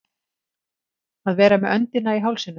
Að vera með öndina í hálsinum